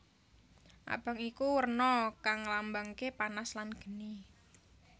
Abang iku werna kang nglambangaké panas lan geni